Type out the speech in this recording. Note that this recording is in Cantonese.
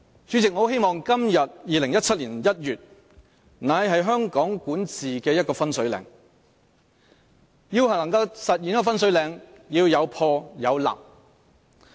主席，我很希望2017年1月的今天會是香港管治的一個分水嶺，而要分水嶺出現，便須有破有立。